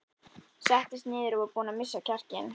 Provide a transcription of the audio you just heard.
Settist niður og var búin að missa kjarkinn.